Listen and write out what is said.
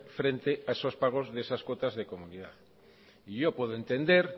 frente a esos pagos de esas cuotas de comunidad y yo puedo entender